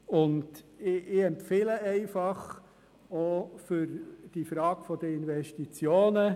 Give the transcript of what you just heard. Ich empfehle auch für die Frage der Investitionen: